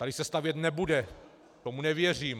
"Tady se stavět nebude, tomu nevěřím."